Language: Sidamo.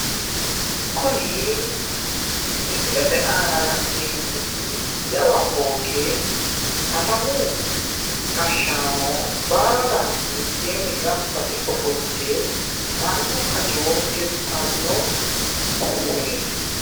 Kuni misilete aana la'neemmoti jawa fooqe katamu gashshaano baalanti mitteenni gamba yite ofolte mannu hajo tirtanno baseeti